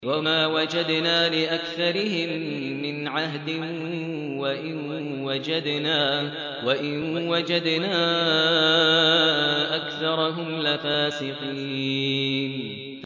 وَمَا وَجَدْنَا لِأَكْثَرِهِم مِّنْ عَهْدٍ ۖ وَإِن وَجَدْنَا أَكْثَرَهُمْ لَفَاسِقِينَ